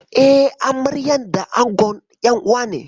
Eh, amaryar da angon.'yan uwane.